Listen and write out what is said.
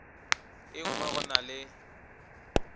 e nngwe go na le